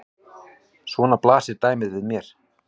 Svona blasir dæmið við mér.